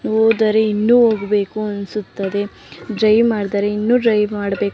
ಹೋದರೆ ಇನ್ನು ಹೋಗಬೇಕು ಅನಿಸುತ್ತದೆ ಡ್ರೈವ್ ಮಾಡಿದರೆ ಇನ್ನು ಡ್ರೈವ್ ಮಾಡಬೇಕು--